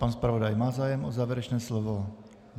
Pan zpravodaj má zájem o závěrečné slovo?